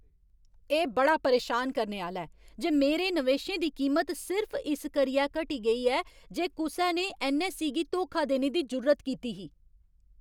एह् बड़ा परेशान करने आह्‌ला ऐ जे मेरे नवेशें दी कीमत सिर्फ इस करियै घटी गेई ऐ की जे कुसै ने ऐन्नऐस्सई गी धोखा देने दी जुर्रत कीती ही।